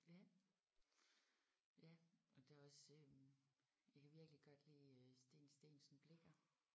Ja. Ja og det er også øh jeg kan virkelig godt lide øh Steen Steensen Blicher